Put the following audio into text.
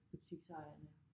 Butiksejerne